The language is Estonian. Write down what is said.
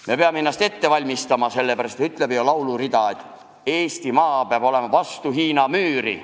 Me peame ennast ette valmistama, ütleb ju lauluridagi, et Eesti maa peab olema vastu Hiina müüri.